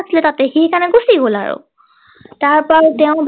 তাতে সি সেই কাৰণে গুছি গল আৰু তাৰ পৰাই তেওঁ